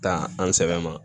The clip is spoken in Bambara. Taa an sɛbɛ ma